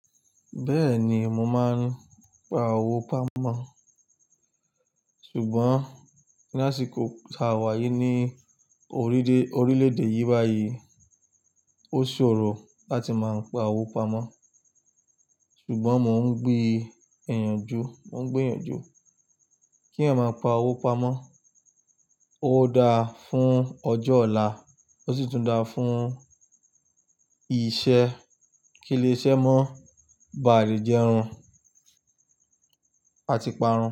Bẹ́ẹ̀ni, mo máa ń pa owó pamọ́. Ṣùgbọ́n lásìkò ìta àwẹ̀ yìí ní orílè-èdè yìí báyìí, ó ṣòro láti máa ń pa owó pamọ́. Ṣùgbọ́n mò ń gbé ìyànjú, mò ń gbé ìyànjú kí a máa pa owó pamọ́. Ó dáa fún ọjọ́ ọ̀la, ó sì tún dáa fún iṣẹ́. Kí ilé iṣẹ́ mọ́ ba à rí jẹrun àti parun.